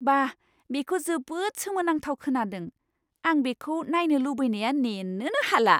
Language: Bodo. बा, बेखौ जोबोद सोमोनांथाव खोनादों! आं बेखौ नायनो लुबैनाया नेनोनो हाला!